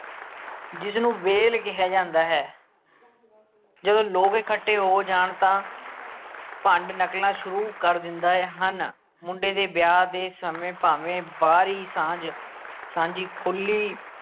ਜਿਸਨੂੰ ਵੇਲ ਕਿਹਾ ਜਾਂਦਾ ਹੈ ਜਦੋਂ ਲੋਕ ਇਕੱਠੇ ਹੋ ਜਾਣ ਤਾਂ ਭੰਡ ਨਕਲਾਂ ਸ਼ੁਰੂ ਕਰ ਦਿੰਦਾ ਹੈ ਹਨ ਮੁੰਡੇ ਦੇ ਵਿਆਹ ਦੇ ਸਮੇਂ ਭਾਵੇ ਬਾਹਰ ਹੀ ਸਾਂਝ ਸਾਂਝੀ ਖੁੱਲ੍ਹੀ